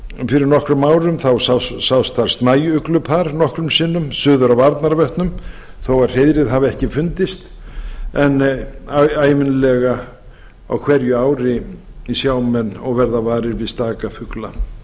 fyrir nokkrum árum sást þar snæuglupar nokkrum sinnum suður af arnarvötnum þó hreiðrið hafi ekki fundist en ævinlega á hverju ári sjá menn og verða varir við staka fugla